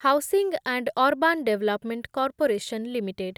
housing and urban development corporation limited